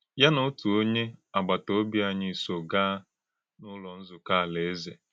Yà na òtù ònyé àgbàtà òbí ányí sò gàa n’Ụ́lọ́ Nzúkọ́ Álàéze.